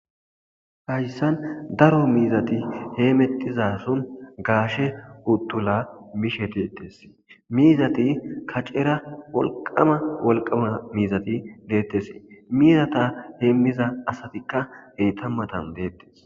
hayssan daro miizati heemettizason gaashe uttula mishe deettes miizati kacera wolqamma wolqamma miizati deettes miizata heemmiza asatikka heyta matan deettes